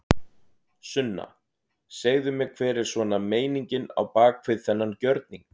Sunna: Segðu mér hver er svona meiningin á bak við þennan gjörning?